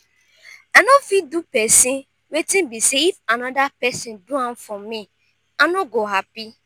i not fit do pesin wetin be say if another pesin do am for me i no go happy